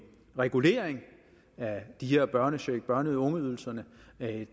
regulering af den her børnecheck og af børne og ungeydelsen